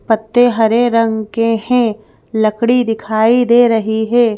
पत्ते हरे रंग के हैं लकड़ी दिखाई दे रही है।